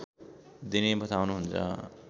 दिने बताउनुहुन्छ